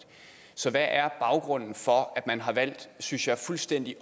så hvad er baggrunden for at man har valgt synes jeg fuldstændig